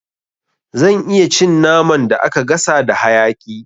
Zan iya cin naman da aka gasa da hayaƙi